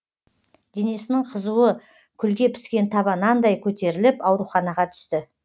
денесінің қызуы күлге піскен таба нандай көтеріліп ауруханаға түсті